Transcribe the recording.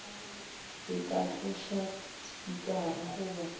e ka tloša spikara goba